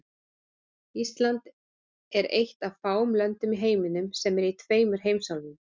Rússland er eitt af fáum löndum í heiminum sem er í tveimur heimsálfum.